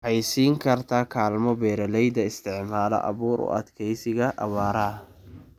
Waxay siin kartaa kaalmo beeralayda isticmaala abuur u adkeysiga abaaraha.